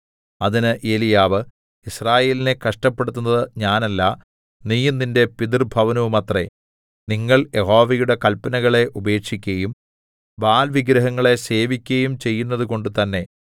അതിന് ഏലിയാവ് യിസ്രായേലിനെ കഷ്ടപ്പെടുത്തുന്നത് ഞാനല്ല നീയും നിന്റെ പിതൃഭവനവുമത്രേ നിങ്ങൾ യഹോവയുടെ കല്പനകളെ ഉപേക്ഷിക്കയും ബാല്‍ വിഗ്രഹങ്ങളെ സേവിക്കയും ചെയ്യുന്നതുകൊണ്ട് തന്നേ